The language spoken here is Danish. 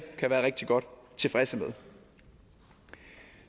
kan være rigtig godt tilfredse med